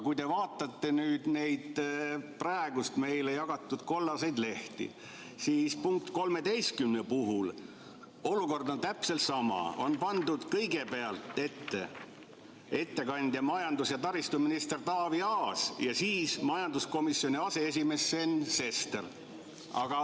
Kui te vaatate neid meile jagatud kollaseid lehti, siis näete, et 13. punkti puhul on olukord täpselt sama: kõigepealt on ettekandja majandus- ja taristuminister Taavi Aas ja siis majanduskomisjoni aseesimees Sven Sester.